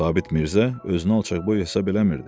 Sabit Mirzə özünü alçaqboy hesab eləmirdi.